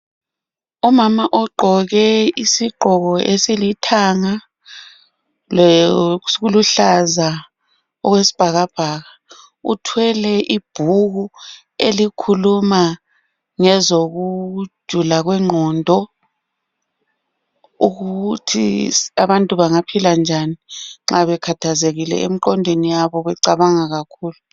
umama ogqoke isigqoko esilithanga le okuluhlaza okwesibhakabhaka uthwele ibhuku elikhuluma ngezokujula kwenqondo ukuthi abantu bangaphila njani nxa bekhathazekile emqondweni yabo becabanga kakhulu